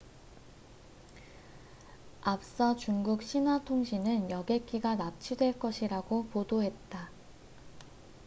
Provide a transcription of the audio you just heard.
앞서 중국 신화통신은 여객기가 납치될 것이라고 보도했다